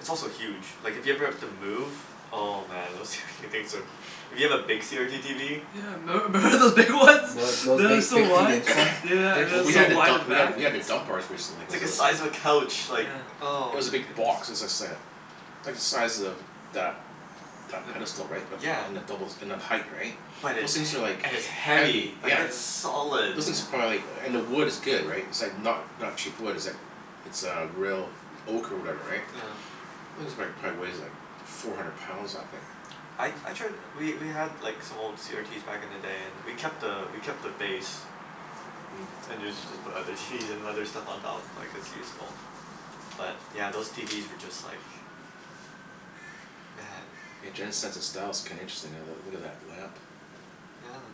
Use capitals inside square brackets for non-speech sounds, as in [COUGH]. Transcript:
It's also huge. Like, if you ever have to move oh man, those tw- things are hu- [NOISE] If you have a big CRT TV. Yeah, memb- member those big ones? Mm. Th- those They were big so fifty [NOISE] wide. inch ones? Yeah yeah yeah, They're and it Well, was we so had to huge. wide dump, in the we had back. t- we had to Yeah. dump ours recently, It's cuz like it a was size of a couch. Like, Yeah. It oh was a big goodness. box. It was like say a like the size of that that Yep. pedestal, right? But, Yeah. and the doubles and then height, right? But [NOISE] Those it's he- things are like and it's heavy. heavy. Yeah. Like Yeah. it's solid. Those things are Yeah. probably like, and the wood is good, right? It's It's like not not cheap wood. It's like It's uh real oak or whatever, right? Yeah. [NOISE] This is like, probably weighs like four hundred pounds, that thing. I Mm. I tried, we we had like some old CRTs back in the day and we kept a we kept the base. Mm. And usually just put other TVs and other stuff on top. Like, it's Yeah. useful. But yeah, those TVs were just like man. Hey, Yeah. Jen's sense of style's kinda interesting. I uh look at that lamp. Yeah.